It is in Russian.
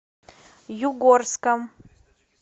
югорском